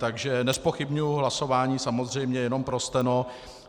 Takže nezpochybňuji hlasování, samozřejmě, jenom pro steno.